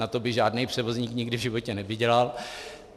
Na to by žádný převozník nikdy v životě nevydělal.